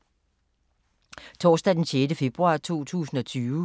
Torsdag d. 6. februar 2020